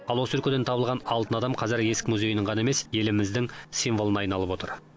ал осы өлкеден табылған алтын адам қазір есік музейінің ғана емес еліміздің символына айналып отыр